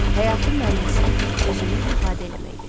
Həyatın mənası özünü ifadə eləməkdir.